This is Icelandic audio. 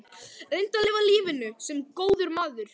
Reyndu að lifa lífinu- sem góður maður.